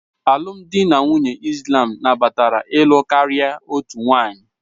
Alụmdi na nwunye Islam nabatara ịlụ karịa otu nwanyị